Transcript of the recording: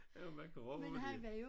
Jamen hvad graver de?